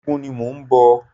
Ẹgúngún ni mò ń bọ̀.